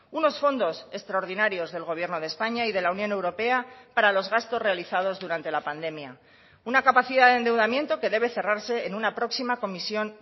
unos fondos extraordinarios del gobierno de españa y de la unión europea para los gastos realizados durante la pandemia una capacidad de endeudamiento que debe cerrarse en una próxima comisión